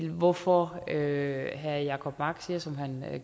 hvorfor herre jacob mark siger som han